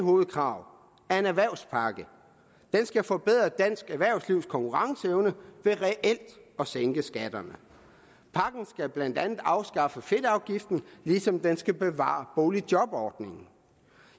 hovedkrav er en erhvervspakke den skal forbedre dansk erhvervslivs konkurrenceevne ved reelt at sænke skatterne pakken skal blandt andet afskaffe fedtafgiften ligesom den skal bevare boligjobordningen